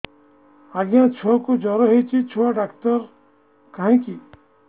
ଆଜ୍ଞା ଛୁଆକୁ ଜର ହେଇଚି ଛୁଆ ଡାକ୍ତର କାହିଁ କି